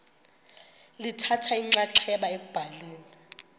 lithatha inxaxheba ekubhaleni